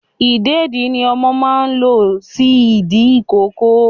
Ìdèdí ni ọmọ máa ń lo sí ìdí ìkókó